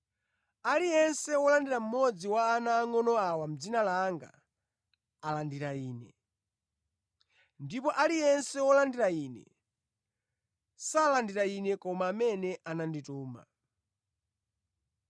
“Aliyense wolandira mmodzi wa ana angʼono awa mʼdzina langa alandira Ine; ndipo aliyense wolandira Ine salandira Ine koma amene anandituma.”